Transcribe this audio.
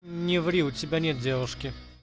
не ври у тебя нет девушки